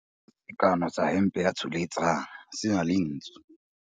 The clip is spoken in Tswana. Sekanô sa hempe ya Tsholetsang se na le ntsu.